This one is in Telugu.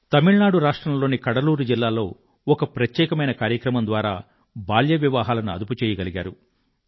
తమిళనాడు రాష్ట్రంలోని కడలూరు జిల్లాలో ఒక ప్రత్యేకమైన కార్యక్రమం ద్వారా బాల్య వివాహాలను ఆదుపుచేయగలిగారు